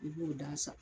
I b'o da san